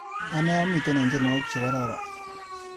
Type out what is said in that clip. Ane amite eng tyenwogik chekororon.